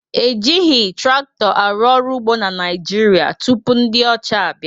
Ejighị traktọ arụ ọrụ ugbo na Naịjirịa tupu ndị ọcha abịa